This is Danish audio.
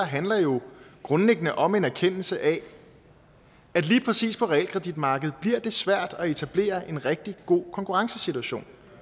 handler jo grundlæggende om en erkendelse af at lige præcis på realkreditmarkedet bliver det svært at etablere en rigtig god konkurrencesituation